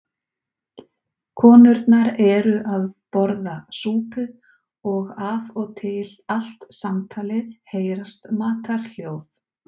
Konurnar eru að borða súpu og af og til allt samtalið heyrast matarhljóð.